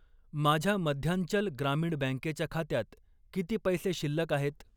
माझ्या मध्यांचल ग्रामीण बँकेच्या खात्यात किती पैसे शिल्लक आहेत?